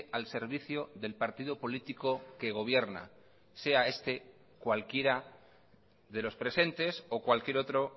al servicio del partido político que gobierna sea este cualquiera de los presentes o cualquier otro